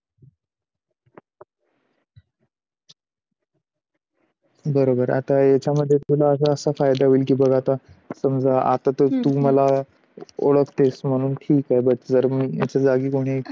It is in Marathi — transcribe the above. बरोबर आता याचा मध्ये तुला असा असा फायदा होईल बघ आता समझा आता तर तू मला ओळखतेस म्हणून ठीक आहे जर माझ्या जागी कोणी